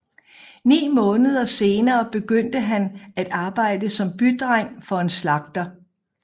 Ni måneder senere begyndte han at arbejde som bydreng for en slagter